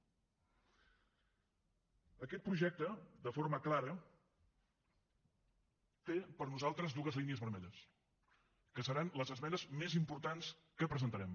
aquest projecte de forma clara té per nosaltres dues línies vermelles que seran les esmenes més importants que presentarem